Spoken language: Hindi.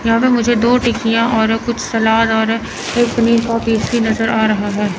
यहां मुझे दो टिक्कियां और कुछ सलाद और एक पनीर पाव टेस्टी नजर आ रहा है।